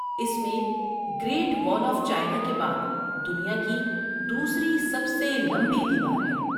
اس میں Great Wall of China کے بعد دنیا کی دوسری سب سے لمبی دیوار ہے۔